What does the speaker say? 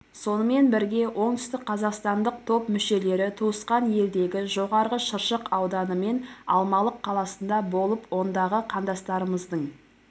сонымен бірге оңтүстікқазақстандық топ мүшелері туысқан елдегі жоғарғы шыршық ауданы мен алмалық қаласында болып ондағы қандастарымыздың